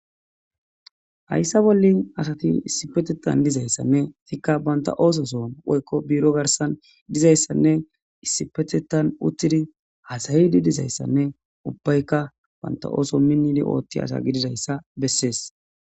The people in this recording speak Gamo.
Hayissa bollin asati issipetetan dizayssanne tikka banta ooso son oykko biiro garsan dizayssanne isipetetan uttidi hasayidi dizayssanne ubbaykka banta ooso minnidi oothti asa gididayssa besses